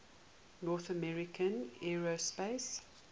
north american aerospace